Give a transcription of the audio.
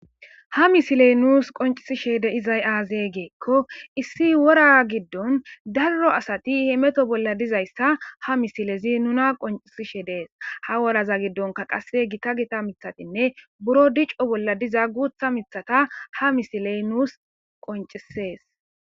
ha misilen nuus qoncisishe de izay aazee geekko issi wora giddon darro asati hi meto bolla dizayssa ha misilezi nuna qoncisishe dees ha woraza giddonka qase gita gita mithatinne buro dicco bolla diza guutha mithata ha misiley nuus qoncisees